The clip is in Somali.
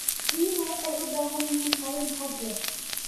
Riyuhu waxay u baahan yihiin qalin hadh leh.